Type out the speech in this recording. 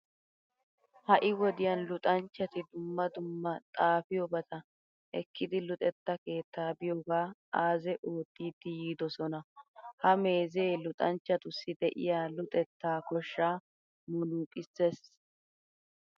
Ha"i wodiyan luxanchchati dumma dumma xaafiyobata ekkidi luxetta keettaa biyogaa aaze oottiiddi yiidosona. Ha meezee luxanchchatussi de'iya luxettaa koshshaa munnuuqissees.